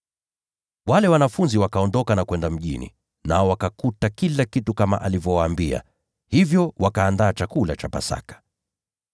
Wale wanafunzi wakaondoka na kwenda mjini, nao wakakuta kila kitu kama Yesu alivyowaambia. Hivyo wakaiandaa Pasaka.